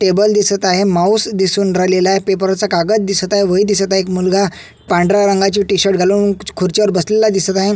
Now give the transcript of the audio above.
Table दिसत आहे mouse दिसून राहिलेला आहे पेपर वरचा कागद दिसत आहे वही दिसत आहे एक मुलगा पांढऱ्या रंगाची टीशर्ट घालून खुर्ची वर बसलेला दिसत आहे.